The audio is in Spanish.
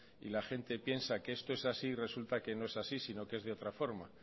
y la gente piensa que esto es así y resulta que no es así sino que es de otra forma